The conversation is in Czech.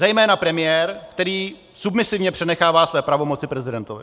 Zejména premiér, který submisivně přenechává své pravomoci prezidentovi.